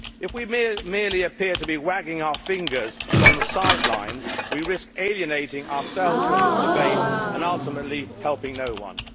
If we merely appear to be wagging our fingers from the sidelines, we risk alienating ourselves from this debate and ultimately helping no one.